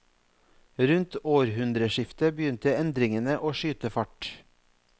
Rundt århundreskiftet begynte endringene å skyte fart.